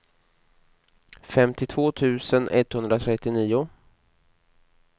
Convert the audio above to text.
femtiotvå tusen etthundratrettionio